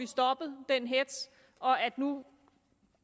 stoppet den hetz nu